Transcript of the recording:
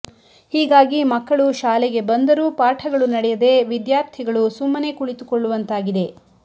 ಹೀಗಾಗಿ ಮಕ್ಕಳು ಶಾಲೆಗೆ ಬಂದರೂ ಪಾಠಗಳು ನಡೆಯದೆ ವಿದ್ಯಾರ್ಥಿಗಳು ಸುಮ್ಮನೆ ಕುಳಿತುಕೊಳ್ಳುವಂತಾಗಿದೆ